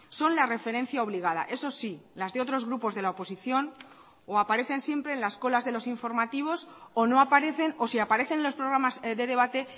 son la referencia obligada eso sí las de otros grupos de la oposición o aparecen siempre en las colas de los informativos o no aparecen o si aparecen los programas de debate